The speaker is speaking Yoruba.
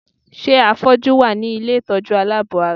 Ṣé àfọ́jú wà ní ilé ìtọ́jú aláàbọ̀-ara?